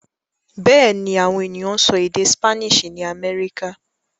Bẹ́ẹ̀ ni, àwọn ènìyàn ń sọ èdè Spanish ní Amẹ́ríkà.